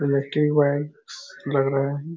Electric wire लग रहा हैं।